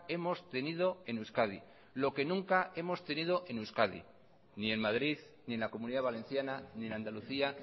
hemos tenido en euskadi lo que nunca hemos tenido en euskadi ni en madrid ni en la comunidad valenciana ni en andalucía